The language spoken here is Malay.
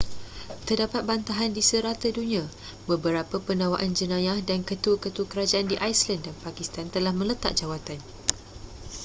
terdapat bantahan di serata dunia beberapa pendakwaan jenayah dan ketua-ketua kerajaan di iceland dan pakistan telah meletak jawatan